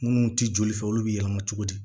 Munnu ti joli fɛ olu be yɛlɛma cogo di